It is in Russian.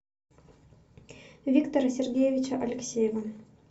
виктора сергеевича алексеева